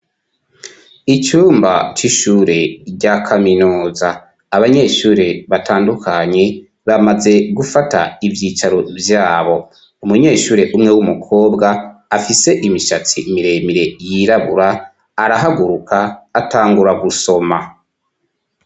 Icumba c'ishure rya kaminuza abanyeshure batandukanye bamaze gufata ivyicaro vyabo umunyeshure umwe w'umukobwa afise imishatsi miremire yirabura arahaguruka atangura gusoma.